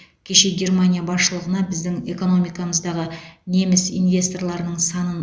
кеше германия басшылығына біздің экономикамыздағы неміс инвесторларының санын